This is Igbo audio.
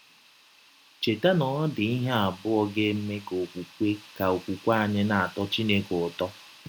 Cheta na ọ dị ihe abụọ ga - eme ka ọkwụkwe ka ọkwụkwe anyị na - atọ Chineke ụtọ.